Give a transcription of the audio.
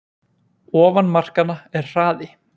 Ofan markanna er hraði